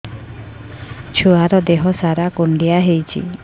ଛୁଆର୍ ଦିହ ସାରା କୁଣ୍ଡିଆ ହେଇଚି